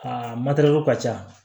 Aa ka ca